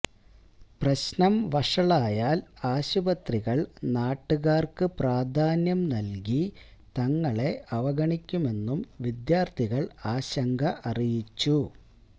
പ്രശ്നം വഷളായാൽ ആശുപത്രികൾ നാട്ടുകാർക്ക് പ്രാധാന്യം നൽകി തങ്ങളെ അവഗണിക്കുമെന്നും വിദ്യാർഥികൾ ആശങ്ക അറിയിച്ചു